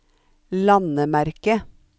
landemerke